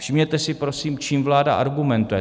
Všimněte si prosím, čím vláda argumentuje.